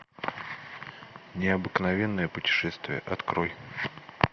необыкновенное путешествие открой